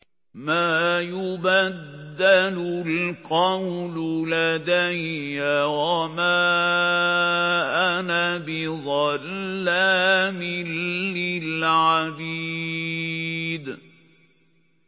مَا يُبَدَّلُ الْقَوْلُ لَدَيَّ وَمَا أَنَا بِظَلَّامٍ لِّلْعَبِيدِ